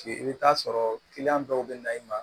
I bɛ taa sɔrɔ dɔw bɛ na i ma